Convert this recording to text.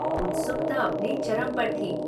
उत्सुकता अपने चरम पर थी।